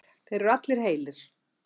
Þeir eru allir heilir